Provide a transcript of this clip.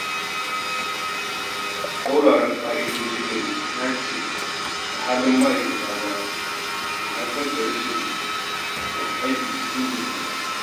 Tsauraran ka’idojin aiki da ba su dace da halin ma’aikata ba na haifar da rashin yin aiki cikin nutsuwa.